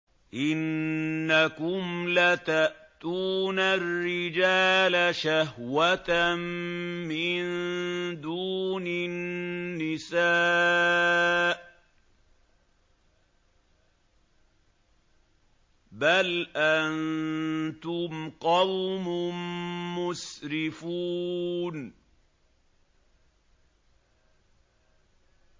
إِنَّكُمْ لَتَأْتُونَ الرِّجَالَ شَهْوَةً مِّن دُونِ النِّسَاءِ ۚ بَلْ أَنتُمْ قَوْمٌ مُّسْرِفُونَ